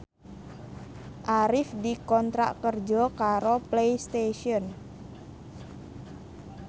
Arif dikontrak kerja karo Playstation